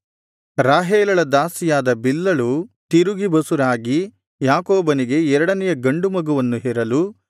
ರಾಹೇಲಳ ದಾಸಿಯಾದ ಬಿಲ್ಹಳು ತಿರುಗಿ ಬಸುರಾಗಿ ಯಾಕೋಬನಿಗೆ ಎರಡನೆಯ ಗಂಡು ಮಗುವನ್ನು ಹೆರಲು